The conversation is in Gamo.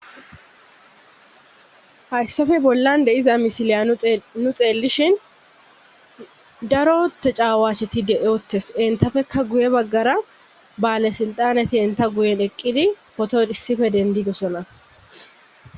hayssafe bollan deiza misiliya nu xeellishin daro tecaawasheti de7oottes entafekka guye baggara baale sulxaneti enta guyen eqqidi poton issife dendidosona